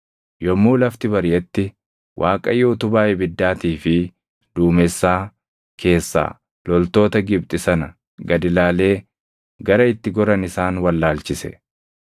Yommuu lafti bariʼetti Waaqayyo utubaa ibiddaatii fi duumessaa keessaa loltoota Gibxi sana gad ilaalee gara itti goran isaan wallaalchise.